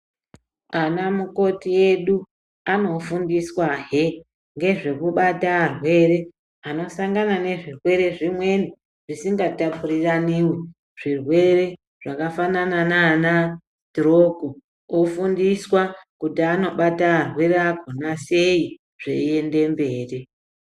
Ana mukoti edu anofundiswahe ngezvekubata arwere anosangana nezvirwere zvimweni zvisingatapururanivi. Zvirwere zvakafanana nana situroko kufundiswa kuti anobata arwere akona sei zveiende mberi.